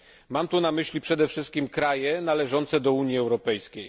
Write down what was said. Mam tu na myśli przede wszystkim kraje należące do Unii Europejskiej.